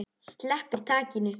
Sleppir takinu.